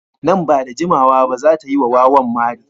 Nan ba da jimawa ba za ta yi wa wawan mari.